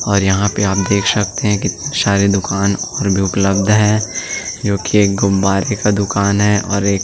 और यहाँ पर आप देख सकते हैं की सारी दुकान पर भी उपलब्ध है जो की एक गुब्बारे का दुकान है और एक --